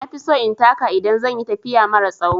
Na fi so in taka idan zan yi tafiya mara tsawo.